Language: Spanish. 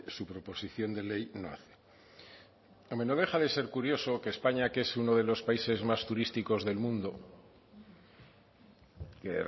su proposición de ley no hace hombre no deja de ser curioso que españa que es uno de los países más turísticos del mundo que